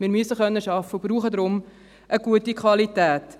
Wir müssen arbeiten können und brauchen darum eine gute Qualität.